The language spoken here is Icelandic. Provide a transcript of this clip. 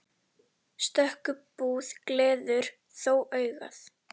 Stöku búð gleður þó augað.